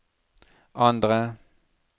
andre